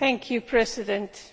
Mr President,